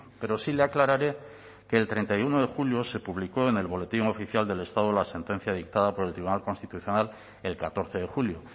pero sí le aclararé que el treinta y uno de julio se publicó en el boletín oficial del estado la sentencia dictada por el tribunal constitucional el catorce de julio